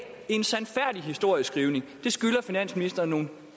en sandfærdig historieskrivning og det skylder finansministeren nogle